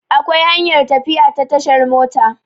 Akwai hanyar tafiya ta tashar mota